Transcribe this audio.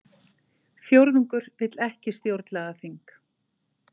Fjórðungur vill ekki stjórnlagaþing